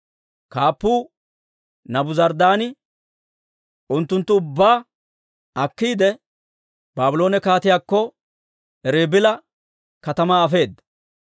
Kaappuu Naabuzaradaani unttunttu ubbaa akkiide, Baabloone kaatiyaakko Ribila katamaa afeedda.